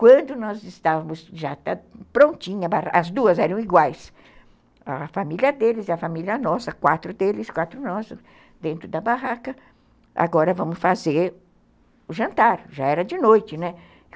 Quando nós estávamos já prontinhas, as duas eram iguais, a família deles e a família nossa, quatro deles, quatro nossos, dentro da barraca, agora vamos fazer o jantar, já era de noite, né?